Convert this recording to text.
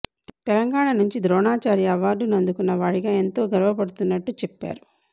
తెలంగాణ నుంచి ద్రోణాచార్య అవార్డును అందుకున్న వాడిగా ఎంతో గర్వపడుతున్నట్టు చెప్పారు